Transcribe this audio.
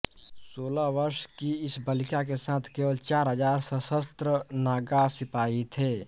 सोलह वर्ष की इस बालिका के साथ केवल चार हज़ार सशस्त्र नागा सिपाही थे